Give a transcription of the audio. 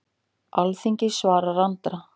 Alþingi svarar Andra